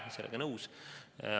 Olen sellega nõus.